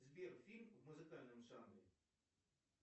сбер фильм в музыкальном жанре